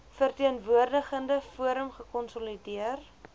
verteenwoordigende forum gekonsolideer